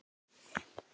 Ketill lækkar róminn.